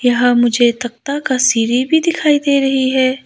यह मुझे तख्ता का सीरी भी दिखाई दे रही है।